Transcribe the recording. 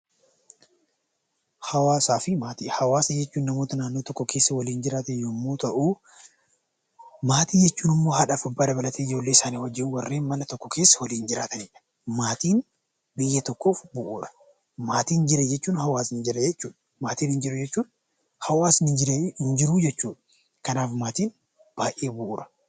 Hawaasaa fi maatii Hawaasa jechuun namoota naannoo tokko keessa waliin jiraatan yemmuu ta'uu, maatii jechuun immoo haadha fi abbaa dabalatee ijoollee isaanii wajjin warreen mana tokko keessa waliin jiraatanidha. Maatiin biyya tokkoof bu'uura. Maatiin jira jechuun hawaasni jira jechuudha. Maatiin hin jiru jechuun hawaasni hin jiru jechuudha. Kanaaf maatiin baayyee bu'uura.